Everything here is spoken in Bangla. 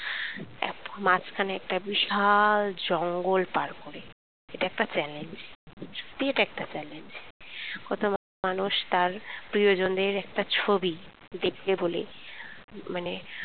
তারপর মাঝখানে একটা বিশাল জঙ্গল পার করে এটা একটা challenge সত্যি এটা একটা challenge কত মানুষ তার প্রিয়জনের একটা ছবি দেখবে বলে মানে